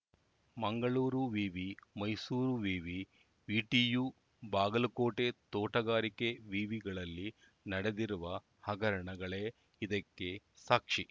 ಮಂಗಳೂರು ವಿವಿ ಮೈಸೂರು ವಿವಿ ವಿಟಿಯು ಬಾಗಲಕೋಟೆ ತೋಟಗಾರಿಕೆ ವಿವಿಗಳಲ್ಲಿ ನಡೆದಿರುವ ಹಗರಣಗಳೇ ಇದಕ್ಕೆ ಸಾಕ್ಷಿ